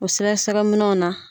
O sɛgɛsɛgɛ minɛnw na